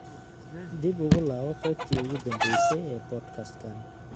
dib ugu laabo qaybtii ugu danbaysay ee podcast-kan